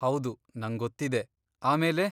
ಹೌದು, ನಂಗೊತ್ತಿದೆ. ಆಮೇಲೆ?